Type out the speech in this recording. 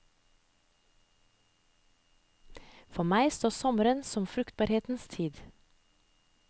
For meg står sommeren som fruktbarhetens tid.